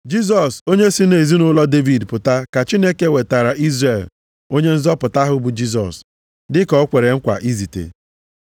“Jisọs onye si nʼezinaụlọ Devid pụta ka Chineke wetaara Izrel Onye nzọpụta ahụ bụ Jisọs, dịka o kwere nkwa izite.